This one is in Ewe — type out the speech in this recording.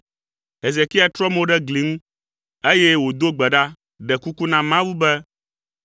Hezekia trɔ mo ɖo ɖe gli ŋu, eye wòdo gbe ɖa, ɖe kuku na Yehowa be,